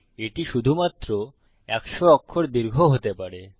এটি শুধুমাত্র 100 অক্ষর দীর্ঘ হতে পারে